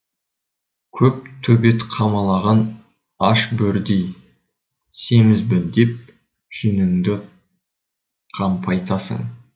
көп төбет қамалаған аш бөрідей семізбін деп жүніңді қампайтасың